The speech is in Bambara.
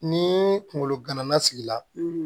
Ni kungolo gana na sigi la